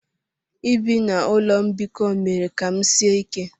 Ibi na ụlọ mbikọ mere ka m sie ike.